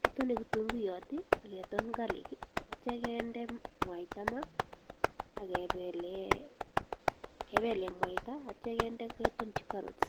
Kitone kitunguiyot ake ton garlic atyo kende mwaita maa ake pele mwaita atyo kende ketonchi carrots